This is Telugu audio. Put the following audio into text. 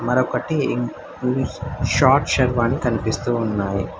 మరొకటి ఇ మ్మ్ షార్ట్ షర్వాణి కనిపిస్తూ ఉన్నాయ్.